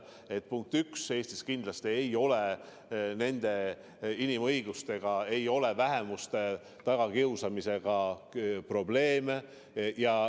Punkt üks, Eestis kindlasti ei ole inimõiguste ja vähemuste tagakiusamisega probleeme.